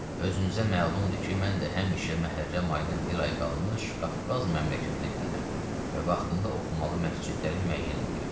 Özünüzə məlumdur ki, mən də həmişə məhərrəm ayına bir ay qalmış Qafqaz məmləkətinə gəlirəm və vaxtında oxumalı məscidləri müəyyən eləyirəm.